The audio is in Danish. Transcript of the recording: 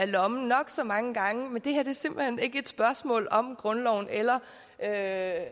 lommen nok så mange gange men det her er simpelt hen ikke et spørgsmål om grundloven eller at